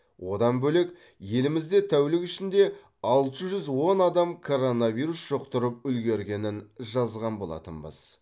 одан бөлек елімізде тәулік ішінде алты жүз он адам коронавирус жұқтырып үлгергенін жазған болатынбыз